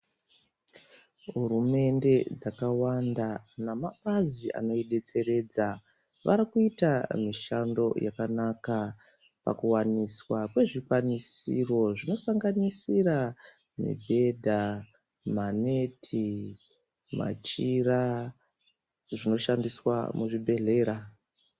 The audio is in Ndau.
Hurumende dzakawanda na mapazi anoyi detseredza vari kuita mishando yakanaka paku waniswa kwe zvikwanisiro zvino sanganisira mibhedha maneti machira zvino shandiswa mu zvibhedhlera.